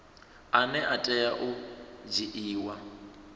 ane a tea u dzhiiwa